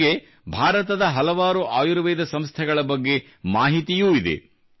ಅವರಿಗೆ ಭಾರತದ ಹಲವಾರು ಆಯುರ್ವೇದ ಸಂಸ್ಥೆಗಳ ಬಗ್ಗೆ ಮಾಹಿತಿಯೂ ಇದೆ